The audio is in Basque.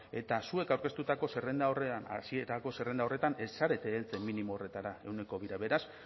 eta zuek aurkeztutako zerrenda horretan hasierako zerrenda horretan ez zarete heltzen minimo horretara ehuneko bira beraz